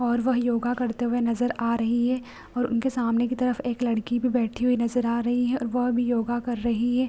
और वह योगा करते हुए नजर आ रही है और उनके सामने की तरफ एक लड़की भी बैठी हुई नजर आ रही है और वह भी योगा कर रही है।